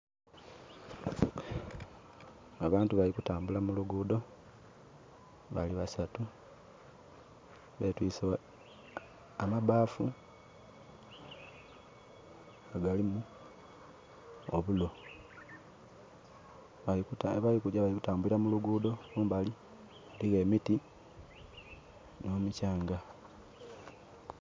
Abantu bali kutambula mu lugudho, bali basatu. Betwiise amabbafu nga galimu obulo. Abali kugya bali kutambulira mu lugudho, kumbali eliyo emiti nho mukyanga.